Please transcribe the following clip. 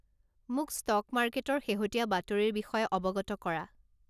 মোক ষ্টক মাৰ্কেটৰ শেহতীয়া বাতৰিৰ বিষয়ে অৱগত কৰা